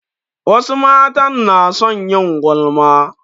Wasu matan na son yin gulma